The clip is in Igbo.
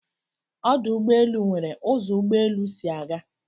Ọdụ̀ Ụgbọelụ n̄were ụzo ụ́gbọélụ́ sị aga